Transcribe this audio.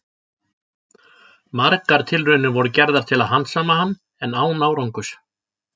Margar tilraunir voru gerðar til að handsama hann, en án árangurs.